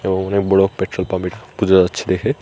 এবং অনেক বড় পেট্রোল পাম্প এটা বোঝা যাচ্ছে দেখে।